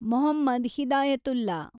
Mohammed Hidayatullah